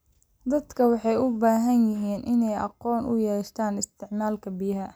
Dadku waxay u baahan yihiin inay aqoon u yeeshaan isticmaalka biyaha.